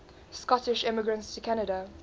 scottish immigrants to canada